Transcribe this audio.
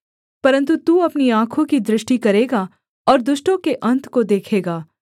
परन्तु तू अपनी आँखों की दृष्टि करेगा और दुष्टों के अन्त को देखेगा